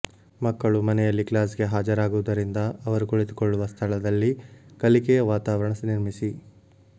ಮಕ್ಕಳು ಮನೆಯಲ್ಲಿ ಕ್ಲಾಸ್ಗೆ ಹಾಜರಾಗುವುದರಿಂದ ಅವರು ಕುಳಿತುಕೊಳ್ಳುವ ಸ್ಥಳದಲ್ಲಿ ಕಲಿಕೆಯ ವಾತಾವರಣ ನಿರ್ಮಿಸಿ